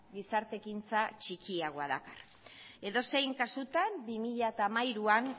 gizarte ekintza txikiagoa dakar edozein kasutan ere bi mila hamairuan